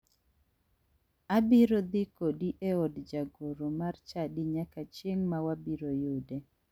Abiro dhi kodi e od jagoro mar chadi nyaka chieng ma wabiro yude.